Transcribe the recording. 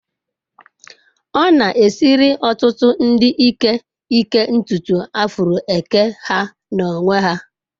Ọ na-esiri ọtụtụ ndị ike ịke ntutu afro eke ha n'onwe ha